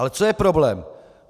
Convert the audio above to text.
Ale co je problém?